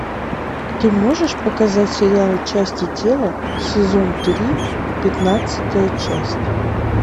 ты можешь показать сериал части тела сезон три пятнадцатая часть